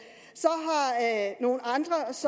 nogle